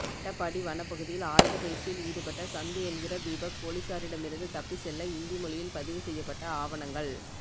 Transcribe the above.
அட்டப்பாடி வனப்பகுதியில் ஆயுத பயிற்சியில் ஈடுபட்ட சந்து என்கிற தீபக்போலீஸாரிடமிருந்து தப்பி செல்ல இந்தி மொழியில் பதிவு செய்யப்பட்ட ஆவணங்கள்